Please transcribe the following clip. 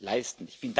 leisten.